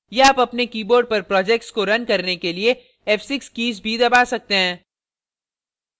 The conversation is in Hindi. या आप अपने keyboard पर project को रन करने के लिए f6 key भी दबा सकते हैं